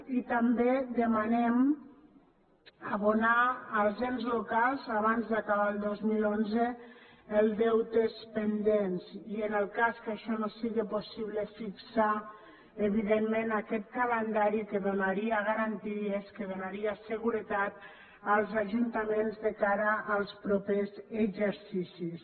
i també demanem abonar als ens locals abans d’acabar el dos mil onze els deutes pendents i en el cas que això no siga possible fixar evidentment aquest calendari que donaria garanties que donaria seguretat als ajuntaments de cara als propers exercicis